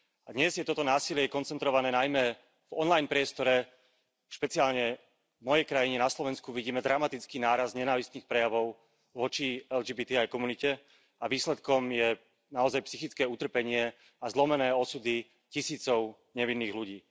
Dnes je toto násilie koncentrované najmä v online priestore, špeciálne v mojej krajine na Slovensku vidíme traumatický nárast nenávistných prejavov voči LGBTI komunite a výsledkom je naozaj psychické utrpenie a zlomené osudy tisícov nevinných ľudí.